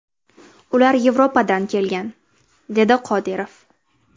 Ular Yevropadan kelgan”, dedi Qodirov.